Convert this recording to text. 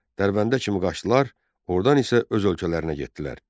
Dərbəndə kimi qaçdılar, ordan isə öz ölkələrinə getdilər.